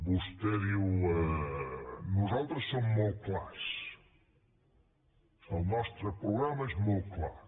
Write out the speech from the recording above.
vostè diu nosaltres som molt clars el nostre programa és molt clar